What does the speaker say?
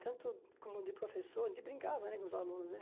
Tanto como de professor, de brincar né com os alunos, né?